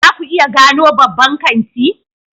Za ku iya gano babban kanti?